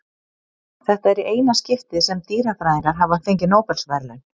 Þetta er í eina skiptið sem dýrafræðingar hafa fengið Nóbelsverðlaun.